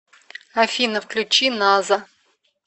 афина включи наза